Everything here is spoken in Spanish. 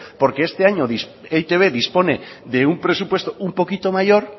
porque este año e i te be dispone de un presupuesto un poquito mayor